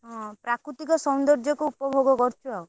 ହଁ ପ୍ରାକୃତିକ ସୌନ୍ଦର୍ଜ୍ୟ କୁ ଉପଭୋଗ କରୁଛୁ ଆଉ।